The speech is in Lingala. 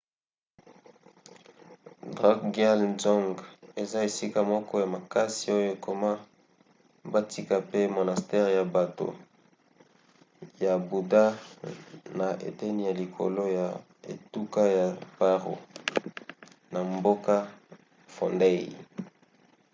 drukgyal dzong eza esika moko ya makasi oyo ekoma batika pe monastere ya bato ya buda na eteni ya likolo ya etuka ya paro na mboka phondey